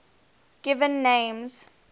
given names